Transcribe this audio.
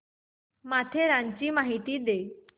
माथेरानची माहिती दे